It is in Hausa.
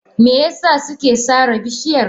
Me yasa suke sare bishiyar?